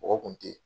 Mɔgɔ kun tɛ